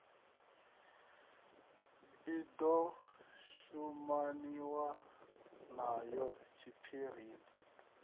i ḓo shumaniwa nayo tshiphirini